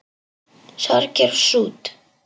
Sorgir og sút